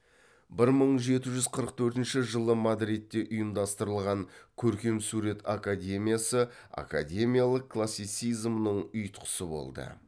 бір мың жеті жүз қырық төртінші жылы мадридте ұйымдастырылған көркемсурет академиясы академиялық классицизмнің ұйытқысы болды